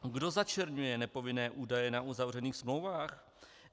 Kdo začerňuje nepovinné údaje na uzavřených smlouvách?